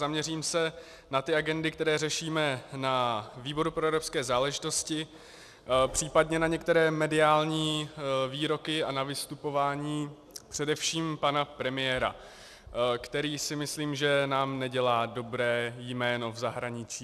Zaměřím se na ty agendy, které řešíme na výboru pro evropské záležitosti, případně na některé mediální výroky a na vystupování především pana premiéra, který, si myslím, že nám nedělá dobré jméno v zahraničí.